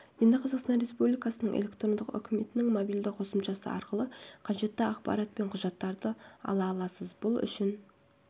енді қазақстан республикасының электрондық үкіметінің мобильді қосымшасы арқылы қажетті ақпарат пен құжаттарды ала аласыз бұл үшін